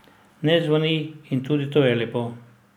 Ne zvoni in tudi to je lepo.